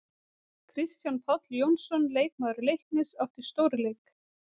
Kristján Páll Jónsson, leikmaður Leiknis átti stórleik.